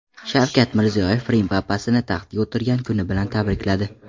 Shavkat Mirziyoyev Rim papasini taxtga o‘tirgan kuni bilan tabrikladi.